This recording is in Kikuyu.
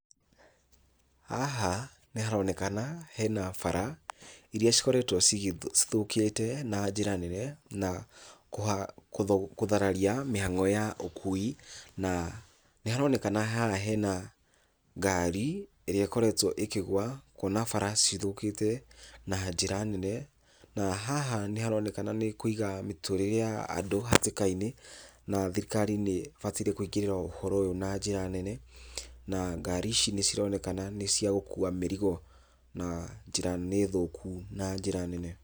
Haha nĩharonekana hena bara iria cikorekwo cithũkĩte na njĩra nene na kũthararia mĩhango ya ũkui na nĩharonekana haha hena ngari ĩrĩa ĩkoretwo ĩkĩgũa kuona bara cithũkĩte na njĩra nene na haha nĩharonekana nĩ kũiga mĩtũrĩre ya andũ hatĩka-inĩ na thirikari nĩĩbataire kũingĩrĩra ũhoro ũyũ na njĩra nene, na ngari ici nĩcironekana nĩ cia gũkuua mĩrigo na njĩra nĩ thũku na njĩra nene.